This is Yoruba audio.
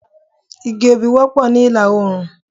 Igi obì pọ̀ ní ìlà-oòrùn.